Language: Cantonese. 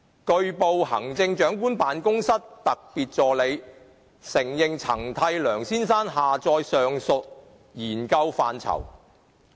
據報，行政長官辦公室特別助理承認曾替梁先生下載上述研究範疇。